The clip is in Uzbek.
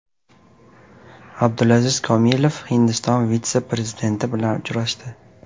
Abdulaziz Komilov Hindiston vitse-prezidenti bilan uchrashdi.